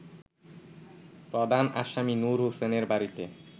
প্রধান আসামি নূর হোসেনের বাড়িতে